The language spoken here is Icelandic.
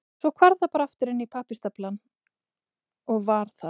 Svo hvarf það bara aftur inn í pappírsstaflana og var þar.